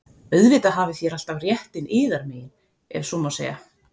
Auðvitað hafið þér alltaf réttinn yðar megin,- ef svo má segja.